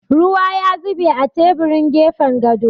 Ruwa ya zube a teburin gefen gado.